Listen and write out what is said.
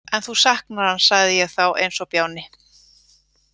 En þú saknar hans, sagði ég þá eins og bjáni.